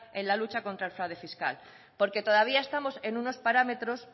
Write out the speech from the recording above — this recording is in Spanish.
en lucha contra el fraude fiscal porque todavía estamos en unos parámetros